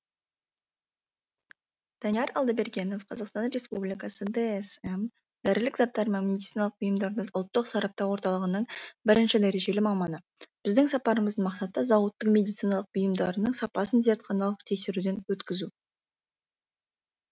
алдабергенов қазақстан республикасының дсм дәрілік заттар мен медициналық бұйымдарды ұлттық сараптау орталығының бірінші дәрежелі маманы біздің сапарымыздың мақсаты зауыттың медициналық бұйымдарының сапасын зертханалық тексеруден өткізу